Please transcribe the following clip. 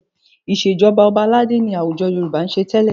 Ìṣèjọba ọba aládé ni àwùjọ Yorùbá ń ṣe tẹ́lẹ̀.